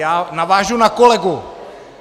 Já navážu na kolegu.